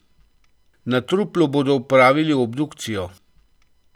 Na truplu bodo opravili obdukcijo.